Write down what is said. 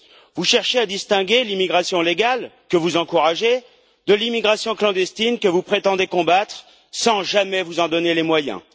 Vous cherchez à distinguer l'immigration légale, que vous encouragez, de l'immigration clandestine, que vous prétendez combattre, sans jamais vous en donner les moyens.